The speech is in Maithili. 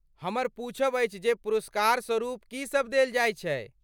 हमर पूछब अछि जे पुरस्कारस्वरुप की सभ देल जाइत छैक?